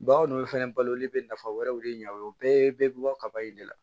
Bagan ninnu fɛnɛ baloli be nafa wɛrɛw de ɲa o ye o bɛɛ bɛɛ bi bɔ kaba in de la